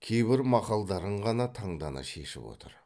кейбір мақалдарын ғана таңдана шешіп отыр